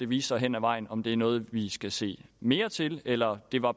vise sig hen ad vejen om det er noget vi skal se mere til eller om det bare